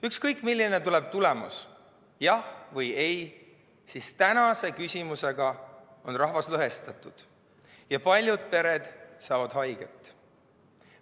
Ükskõik milline tuleb tulemus, jah või ei, siis tänase küsimuse tõttu on rahvas lõhestatud ja paljud pered saavad haiget.